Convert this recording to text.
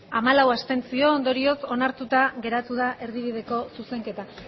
hamalau abstentzio ondorioz onartuta geratu da erdibideko zuzenketa